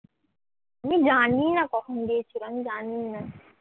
আমি জানিইনা কখন দিয়েছিল আমি জানিনা